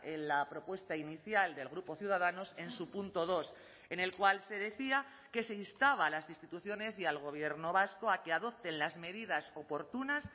en la propuesta inicial del grupo ciudadanos en su punto dos en el cual se decía que se instaba a las instituciones y al gobierno vasco a que adopten las medidas oportunas